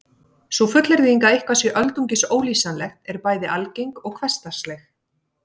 Sú fullyrðing að eitthvað sé öldungis ólýsanlegt er bæði algeng og hversdagsleg.